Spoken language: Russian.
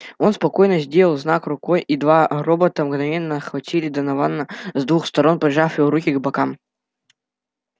он спокойно сделал знак рукой и два робота мгновенно обхватили донована с двух сторон прижав его руки к бокам